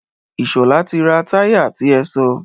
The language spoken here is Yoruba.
Ìṣọ̀lá ti ra táyà ti ẹ sọ.